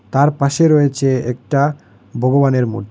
তার পাশে রয়েছে একটা ভগবানের মূর্--